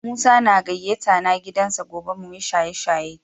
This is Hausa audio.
Musa na gayata na gidan sa gobe mu yi shaye-shaye.